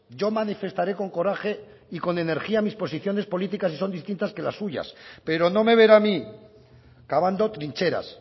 yo manifestaré con coraje y con energía mis posiciones políticas si son distintas que las suyas pero no me verá a mí cavando trincheras